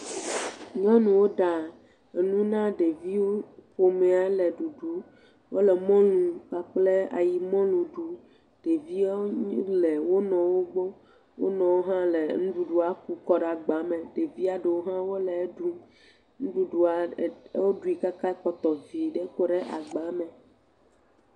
Nyɔnu ɖa enuwo na ɖeviwo ƒomea le ɖuɖuu. Wole mɔlu kpakpla ayimɔlu ɖu, ɖeviawo le wo nɔwo gbɔ. Wo nɔ hã le nuɖuɖua ku ƒo ɖe agbamɛ. Ɖevia ɖewo le eɖum. Nuɖuɖua woɖui kaka ekpɔtɔ vi ɖe.